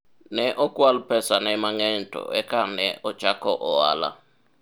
ne okwal pesane mang'eny to eka ne ochako ohala